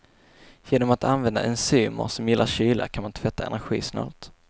Genom att använda enzymer som gillar kyla kan man tvätta energisnålt.